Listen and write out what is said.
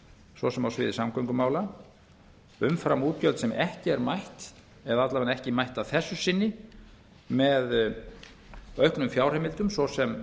svo sem á sviði samgöngumála umframútgjöldum sem ekki er mætt að minnsta kosti ekki að þessu sinni með auknum fjárheimildum svo sem